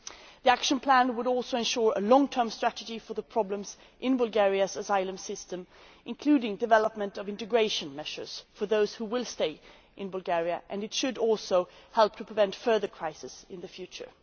The action plan would also ensure a long term strategy for the problems in Bulgaria's asylum system, including the development of integration measures for those who will stay in Bulgaria, and it should help to prevent further crises in the future.